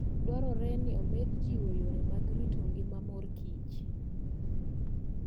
Dwarore ni omed jiwo yore mag rito ngima mor kich.